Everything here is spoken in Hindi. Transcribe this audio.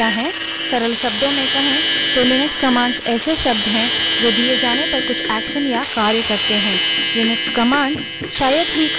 सरल शब्दों में कहें तो लिनक्स commands ऐसे शब्द हैं जो दिए जाने पर कुछ actions या कार्य करते हैं